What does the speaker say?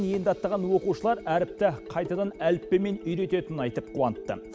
енді аттаған оқушылар әріпті қайтадан әліппемен үйрететінін айтып қуантты